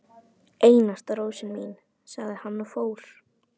Einasta rósin mín, sagði hann og fór.